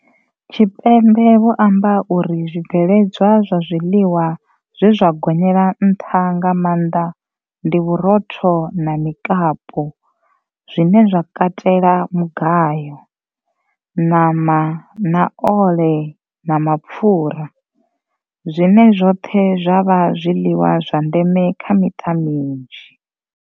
Tshipembe vho amba uri zwi bveledzwa zwa zwiḽiwa zwe zwa gonyela nṱha nga maanḓa ndi vhurotho na mikapu zwine zwa katela mugayo, ṋama na ole na mapfura, zwine zwoṱhe zwa vha zwiḽiwa zwa ndeme kha miṱa minzhi.